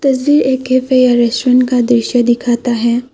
अ restaurant का दृश्य दिखता है।